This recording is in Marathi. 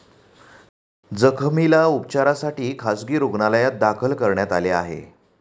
जखमीला उपचारासाठी खासगी रूग्णालयात दाखल करण्यात आले आहे.